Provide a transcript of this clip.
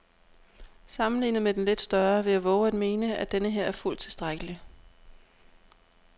Sammenlignet med den lidt større vil jeg vove at mene, at denneher er fuldt tilstrækkelig.